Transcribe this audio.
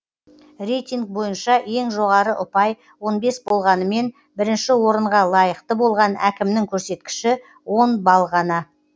рейтинг бойынша ең жоғары ұпай он бес болғанымен бірінші орынға лайықты болған әкімнің көрсеткіші он балл ғана